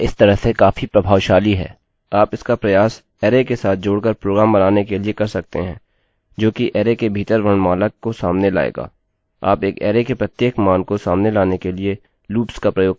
आप इसका प्रयास अरै array के साथ जोड़ कर प्रोग्राम बनाने के लिए कर सकते हैं जो कि अरै के भीतर वर्णमाला को सामने लाएगा